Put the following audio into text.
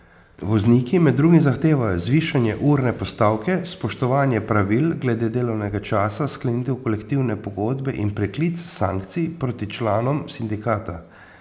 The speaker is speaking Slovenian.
Vozniki med drugim zahtevajo zvišanje urne postavke, spoštovanje pravil glede delovnega časa, sklenitev kolektivne pogodbe in preklic sankcij proti članom sindikata.